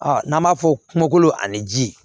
n'an b'a fɔ kungolo ani ji